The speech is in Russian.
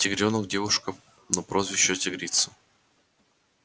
тигрёнок девушка но прозвищу тигрица